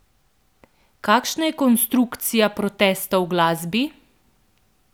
Kakšna je konstrukcija protesta v glasbi?